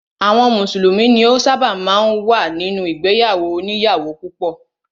Àwọn mùsùlùmí ni ó ṣábà máa ń wà nínú ìgbéyàwó òníyàwó púpọ̀.